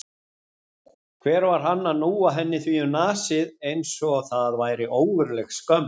Hver var hann að núa henni því um nasir eins og það væri ógurleg skömm?